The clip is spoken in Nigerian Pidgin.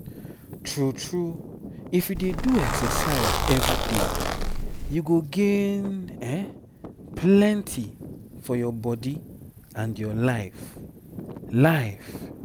true true if you dey do exercise everyday you go gain plenty for your body and your life. life.